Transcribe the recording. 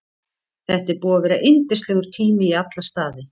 Þetta er búið að vera yndislegur tími í alla staði.